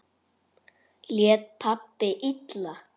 Lét pabbi illa?